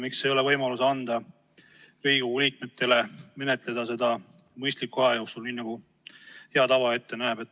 Miks ei ole võimalik lasta Riigikogu liikmetel menetleda seda mõistliku aja jooksul, nii nagu hea tava ette näeb?